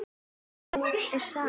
Hvað er saga?